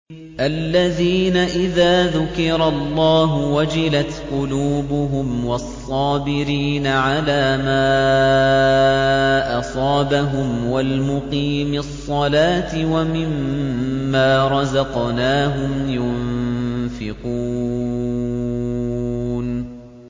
الَّذِينَ إِذَا ذُكِرَ اللَّهُ وَجِلَتْ قُلُوبُهُمْ وَالصَّابِرِينَ عَلَىٰ مَا أَصَابَهُمْ وَالْمُقِيمِي الصَّلَاةِ وَمِمَّا رَزَقْنَاهُمْ يُنفِقُونَ